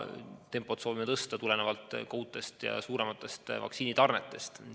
Soovime tempot tõsta tulenevalt uutest ja suurematest vaktsiinitarnetest.